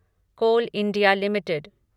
coal India limited